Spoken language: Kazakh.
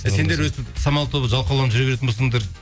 сендер өйстіп самал тобы жалқауланып жүре беретін болсаңдар